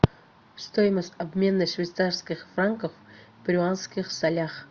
стоимость обмена швейцарских франков в перуанских солях